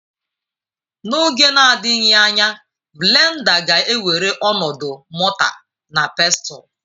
N'oge na-adịghị anya blenda ga-ewere ọnọdụ mọta na Pestụl.